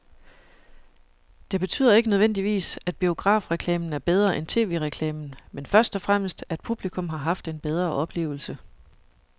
Det betyder ikke nødvendigvis, at biografreklamen er bedre end tv-reklamen, men først og fremmest at publikum har haft en bedre oplevelse.